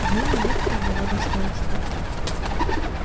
две монетки одного достоинства